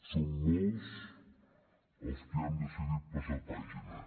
som molts els que ja hem decidit passar pàgina